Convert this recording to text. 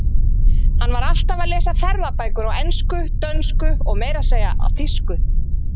Hann var alltaf að lesa ferðabækur á ensku, dönsku og meira að segja þýsku.